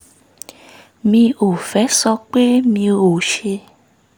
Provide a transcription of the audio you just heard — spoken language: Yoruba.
mi ò fẹ́ sọ pé mi ò ṣe